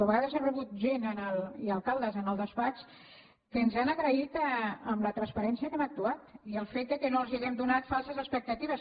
a vegades he rebut gent i alcaldes en el despatx que ens han agraït la transparència amb què hem actuat i el fet que no els hàgim donat falses expectatives